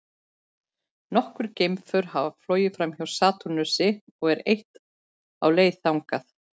Nokkur geimför hafa flogið framhjá Satúrnusi og eitt er á leið þangað.